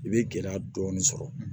I bɛ gɛlɛya dɔɔnin sɔrɔ